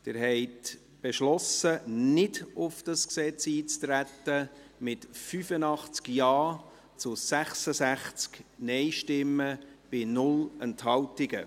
Sie haben mit 85 Ja- zu 66 Nein-Stimmen bei 0 Enthaltungen beschlossen, nicht auf dieses Gesetz einzutreten.